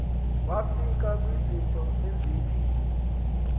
wafika kwizinto ezithi